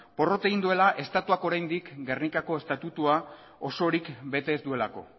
porrot egin duela estatuak oraindik gernikako estatutua osorik bete ez duelako